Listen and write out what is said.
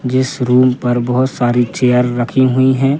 जिस रूम पर बहोत सारी चेयर रखी हुई है।